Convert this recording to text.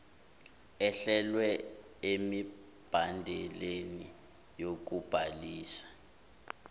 ehlelwe emibandeleni yokubhalisa